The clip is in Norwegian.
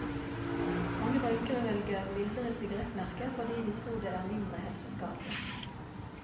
Mange røykere velger mildere sigarettmerker fordi de tror det er mindre helseskadelig.